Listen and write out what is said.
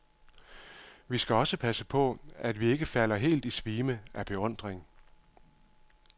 Vi skal også passe på, at vi ikke falder helt i svime af beundring.